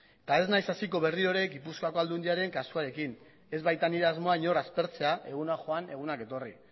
eta ez naiz hasiko berriro gipuzkoako aldundiaren kasuarekin ez baita nire asmoa inor aspertzea egunak joan egunak etorri